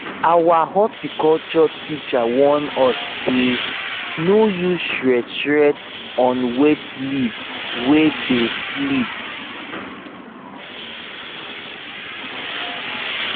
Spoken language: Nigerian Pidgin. our horticulture teacher warn us say no use shears shears on wet leaf wey dey slip